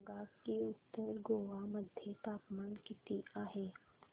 सांगा की उत्तर गोवा मध्ये तापमान किती आहे